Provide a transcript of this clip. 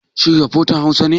Shin rafotan Hausa ne?